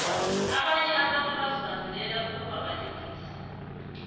abantu abanye bazibandulele ukubabalingisi